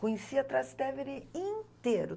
Conhecia Trastevere inteiro.